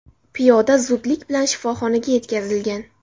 Piyoda zudlik bilan shifoxonaga yetkazilgan.